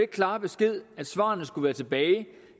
klare besked at svarene skulle være tilbage